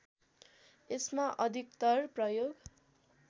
यसमा अधिकतर प्रयोग